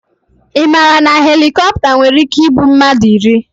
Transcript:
Ị maara na helikopta nwere ike iburu mmadụ iri?